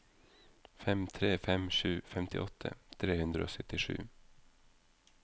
fem tre fem sju femtiåtte tre hundre og syttisju